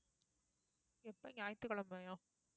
எப்ப ஞாயிற்றுக்கிழமையா